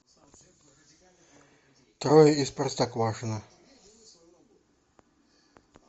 трое из простоквашино